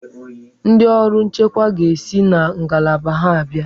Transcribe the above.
Ndị ọrụ nchekwa ga-esi na ngalaba ha abịa.